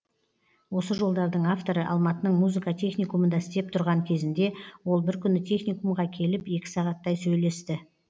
осы жолдардың авторы алматының музыка техникумында істеп тұрған кезінде ол бір күні техникумға келіп екі сағаттай сөйлесті